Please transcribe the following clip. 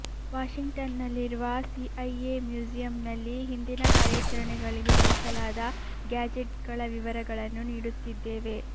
ವಾಶಿಂಗ್ಟನ್ನಲ್ಲಿರುವ CIA ಮ್ಯೂಸಿಯಮ್ನಲ್ಲಿ ಹಿಂದಿನ ಕಾರ್ಯಾಚರಣೆಗಳಿಗೆ ಬಳಸಲಾದ ಗ್ಯಾಜೆಟ್ಗಳ ವಿವರಗಳನ್ನು ನೀಡುತ್ತಿದ್ದೇವೆ